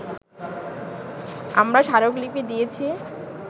আমরা স্মারকলিপি দিয়েছি